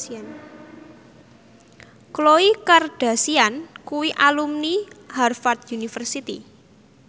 Khloe Kardashian kuwi alumni Harvard university